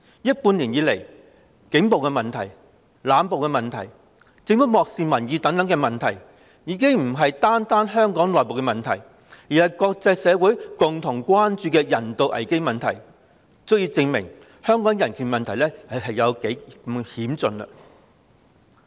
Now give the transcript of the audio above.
這半年來，警暴、濫捕、政府漠視民意等問題已不單是香港的內部問題，更是國際社會共同關注的人道危機，足以證明香港的人權問題有多嚴峻。